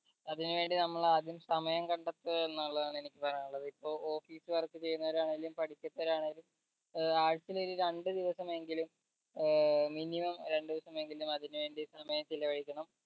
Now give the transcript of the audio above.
അതിനു വേണ്ടി നമ്മൾ ആദ്യം സമയം കണ്ടെത്തുക എന്നുള്ളതാണ് എനിക്ക് പറയാനുള്ളത് ഇപ്പൊ office work ചെയ്യുന്ന പഠിക്കുന്നവരാണേലും പഠിക്കുന്നവരാണേലും ഏർ ആഴ്ചയിൽ ഒരു രണ്ട് ദിവസമെങ്കിലും ഏർ minimum രണ്ട് ദിവസമെങ്കിലും അതിന് വേണ്ടി സമയം ചിലവഴിക്കണം